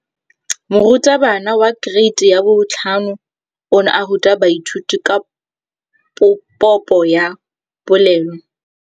Moratabana wa kereiti ya 5 o ne a ruta baithuti ka popô ya polelô.